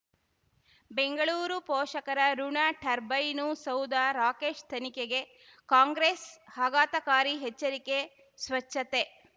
ಬೆಂಗಳೂರು ಪೋಷಕರಋಣ ಟರ್ಬೈನು ಸೌಧ ರಾಕೇಶ್ ತನಿಖೆಗೆ ಕಾಂಗ್ರೆಸ್ ಆಘಾತಕಾರಿ ಎಚ್ಚರಿಕೆ ಸ್ವಚ್ಛತೆ